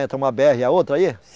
Entra uma bê erre e a outra aí?